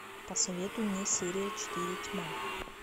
посоветуй мне серия четыре тьма